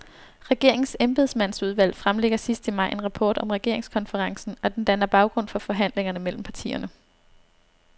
Regeringens embedsmandsudvalg fremlægger sidst i maj en rapport om regeringskonferencen, og den danner baggrund for forhandlingerne mellem partierne.